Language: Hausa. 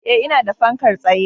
Eh, ina da fankar tsaye